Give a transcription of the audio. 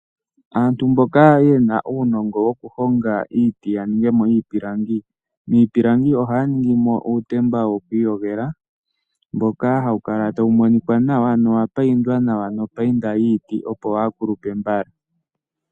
Aantu mboka yena uunongo wokuhonga iiti yaningemo iipilangi, miipilangi ohaya ningimo uutemba yokwiiyogela mboka hawu kala tawu monika nawa nowapayindwa nawa nopayinda yiiti opo waakulupe mbala.